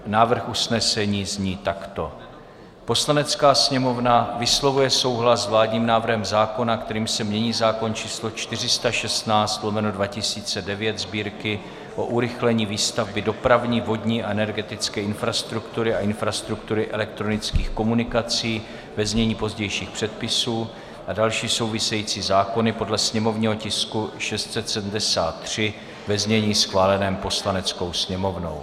Návrh usnesení zní takto: "Poslanecká sněmovna vyslovuje souhlas s vládním návrhem zákona, kterým se mění zákon č. 416/2009 Sb., o urychlení výstavby dopravní, vodní a energetické infrastruktury a infrastruktury elektronických komunikací, ve znění pozdějších předpisů, a další související zákony, podle sněmovního tisku 673, ve znění schváleném Poslaneckou sněmovnou.